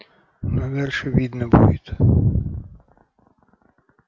ну а дальше видно будет